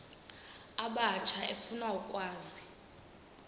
abatsha efuna ukwazi